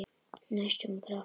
Næstum grátt.